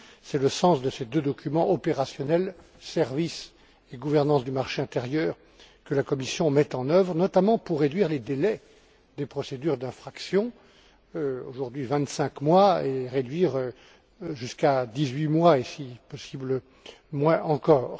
C'est le sens de ces deux documents opérationnels Services et Gouvernance du marché intérieur, que la Commission met en œuvre, notamment pour réduire les délais des procédures d'infraction aujourd'hui vingt cinq mois jusqu'à dix huit mois et, si possible, moins encore.